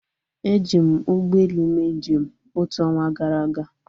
Eji m ụgbọelu mee njem otu ọnwa gara aga